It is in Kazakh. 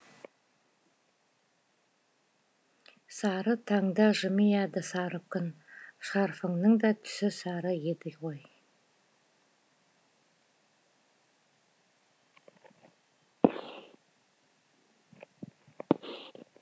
сары таңда жымияды сары күн шарфыңның да түсі сары еді ғой